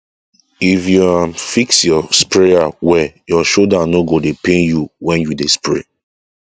if you um fix your sprayer well your shoulder no go dey pain you when you dey spray